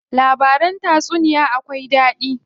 Labaran tatsuniya akwai daɗi.